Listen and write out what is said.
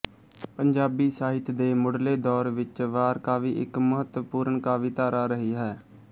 ਪੰਜਾਬੀ ਸਾਹਿਤ ਦੇ ਮੁੱਢਲੇ ਦੌਰ ਵਿੱਚ ਵਾਰ ਕਾਵਿ ਇੱਕ ਮਹੁੱਤਵਪੂਰਨ ਕਾਵਿ ਧਾਰਾ ਰਹੀ ਹੈ